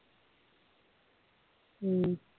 ਹਮ